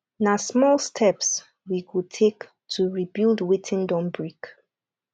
na small steps we go take to rebuild wetin don break